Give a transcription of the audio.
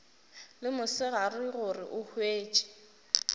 le mosegare gore o hwetše